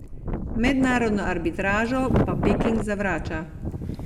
Mednarodno arbitražo pa Peking zavrača.